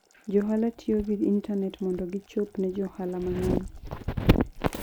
Johala tiyo gi intanet mondo gichop ne johala mang'eny.